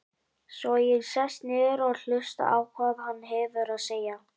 Svo ég sest niður og hlusta á hvað hann hefur að segja.